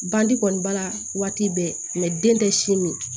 Bandi kɔni b'a la waati bɛɛ den tɛ si min